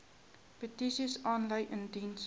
petisies aanlyn indien